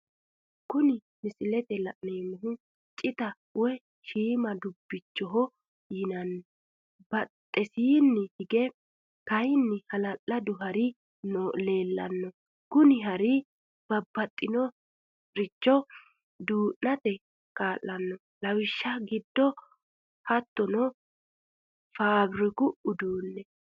Kuni misilete la'neemohu citaho woyi shiima dubiichoho yinanni, baxxesinni hige kayinni halaladu hari leelano kuni hari babaxinoricho duunate kaalanno lawishaho gide hattonno faabiriku uduu'ne